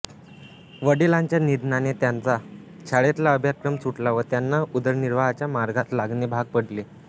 वडीलांच्या निधनाने त्यांचा शाळेतला अभ्यासक्रम सुटला व त्यांना उदरनिर्वाहाच्या मार्गास लागणे भाग पडले